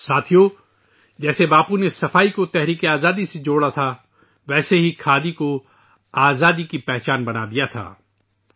دوستو ، جس طرح باپو نے صفائی کو آزادی سے جوڑا تھا ، اسی طرح کھادی کو آزادی کی پہچان بنا دیا گیاتھا